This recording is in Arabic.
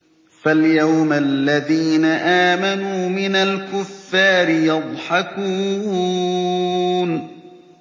فَالْيَوْمَ الَّذِينَ آمَنُوا مِنَ الْكُفَّارِ يَضْحَكُونَ